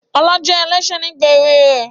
Ọlá jẹ́ ẹlẹ́ṣẹ̀ nígbà èwe rẹ̀